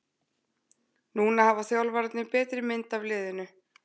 Núna hafa þjálfararnir betri mynd af liðinu.